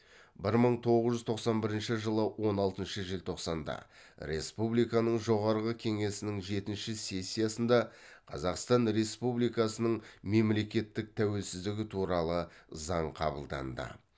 бір мың тоғыз жүз тоқсан бірінші жылы он алтыншы желтоқсанда республиканың жоғарғы қеңесінің жетінші сессиясында қазақстан республикасының мемлекеттік тәуелсіздігі туралы заң қабылданды